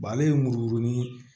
ale ye muru ni